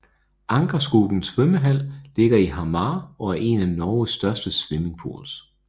Ankerskogen svømmehall ligger i Hamar og er en af Norges største swimmingpools